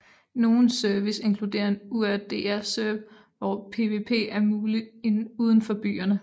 Nogle service inkludere en Urdr serve hvor PvP er muligt udenfor byerne